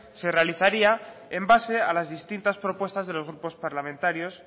se realizaría en base a las distintas propuestas de los grupos parlamentarios